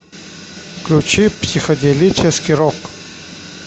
включи психоделический рок